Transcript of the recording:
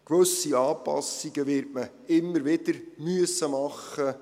Gewisse Anpassungen wird man immer wieder machen müssen.